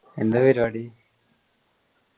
എന്താ പരിപാടി